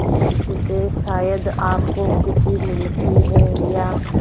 इससे शायद आपको खुशी मिलती है या